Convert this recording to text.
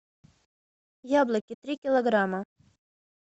яблоки три килограмма